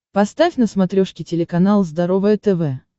поставь на смотрешке телеканал здоровое тв